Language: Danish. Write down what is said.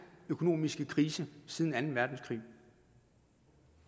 økonomiske krise siden anden verdenskrig